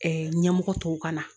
ɲɛmɔgɔ tɔw ka na